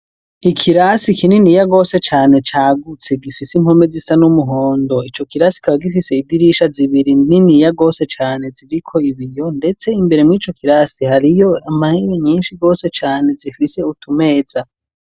Ikirasi kinini yagose cyane cyagutse gifise inpome zisa n'umuhondo icyo kirasi kaba gifise idirisha zibiri nini ya gose cane ziriko ibiyo ndetse imbere mu ico kirasi hariyo amahewe nyinshi gose cane zifise utumeza.